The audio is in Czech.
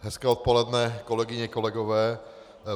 Hezké odpoledne kolegyně, kolegové.